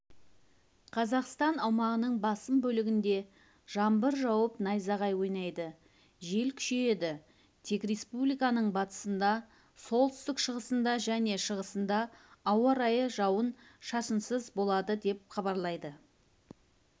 қазақстан аумағының басым бөлігінде жаңбыр жауып найзағай ойнайды жел күшейеді тек республиканың батысында солтүстік-шығысында және шығысында ауа-райы жауын-шашынсыз болады деп хабарлайды